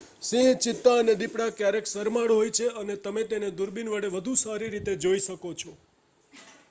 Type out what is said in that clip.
સિંહ ચિત્તા અને દીપડા ક્યારેક શરમાળ હોય છે અને તમે તેમને દૂરબીન વડે વધુ સારી રીતે જોઇ શકો છો